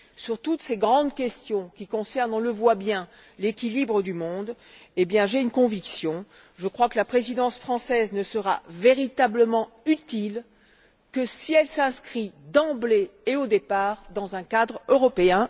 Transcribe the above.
Sur toutes ces grandes questions qui concernent, on le voit bien, l'équilibre du monde, j'ai une conviction. Je crois que la présidence française ne sera véritablement utile que si elle s'inscrit d'emblée et au départ dans un cadre européen.